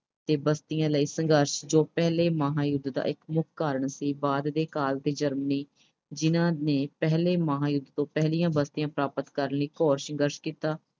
ਤੇ ਬਸਤੀਆਂ ਲਈ ਸੰਘਰਸ਼ ਜੋ ਪਹਿਲੇ ਮਹਾਂਯੁੱਧ ਦਾ ਇੱਕ ਮੁੱਖ ਕਾਰਨ ਸੀ। ਬਾਅਦ ਦੇ ਕਾਲ ਵਿੱਚ Germany ਜਿਨ੍ਹਾਂ ਨੇ ਪਹਿਲੇ ਮਹਾਂਯੁੱਧ ਤੋਂ ਪਹਿਲੀਆਂ ਬਸਤੀਆਂ ਪ੍ਰਾਪਤ ਕਰਨ ਲਈ ਘੋਰ ਸੰਘਰਸ਼ ਕੀਤਾ